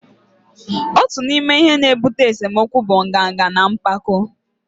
otu n'ime ihe na-ebute esemokwu bụ nganga na mpako